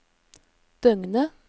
døgnet